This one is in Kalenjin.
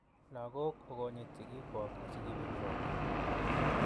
lagok okonit sigiikwok asi keberurok